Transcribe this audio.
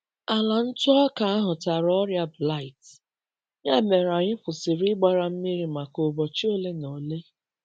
Ala ntụ ọka ahụ tara ọrịa blight, ya mere anyị kwụsịrị ịgbara mmiri maka ụbọchị ole na ole.